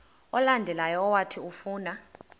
olandelayo owathi ufuna